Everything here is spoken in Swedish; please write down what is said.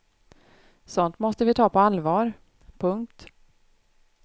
Sådant måste vi ta på allvar. punkt